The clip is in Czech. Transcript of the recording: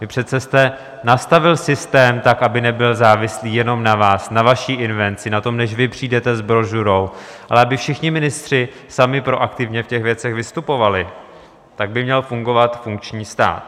Vy přece jste nastavil systém tak, aby nebyl závislý jenom na vás, na vaší invenci, na tom, než vy přijdete s brožurou, ale aby všichni ministři sami proaktivně v těch věcech vystupovali, tak by měl fungovat funkční stát.